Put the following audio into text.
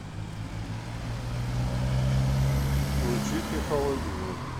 включите холодильник